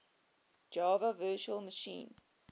java virtual machine